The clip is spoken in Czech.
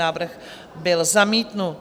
Návrh byl zamítnut.